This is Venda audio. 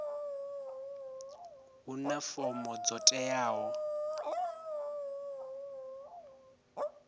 huna fomo dzo teaho u